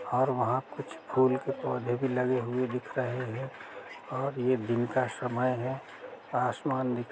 और वहाँ कुछ फूल के पौधे भी लगे हुए भी दिख रहे हैं और ये दिन का समय है आसमान दिख --